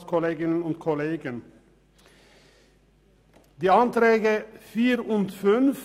Ich spreche zu den Anträgen 4 und 5.